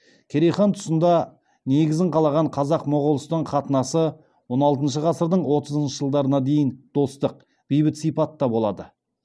керей хан тұсында негізі қаланған қазақ моғолстан қатынасы он алтыншы ғасырдың отызыншы жылдарына дейін достық бейбіт сипатта болады